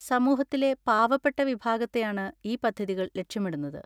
സമൂഹത്തിലെ പാവപ്പെട്ട വിഭാഗത്തെയാണ് ഈ പദ്ധതികൾ ലക്ഷ്യമിടുന്നത്.